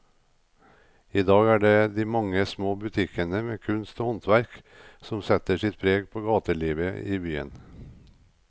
I dag er det de mange små butikkene med kunst og håndverk som setter sitt preg på gatelivet i byen.